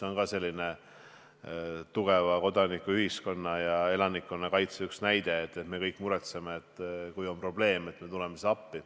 Minu meelest see on tugeva kodanikuühiskonna ja elanikkonnakaitse hea näide, et me kõik muretseme ja kui on probleem, siis tuleme appi.